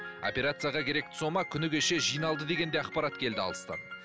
операцияға керекті сома күні кеше жиналды деген де ақпарат келді алыстан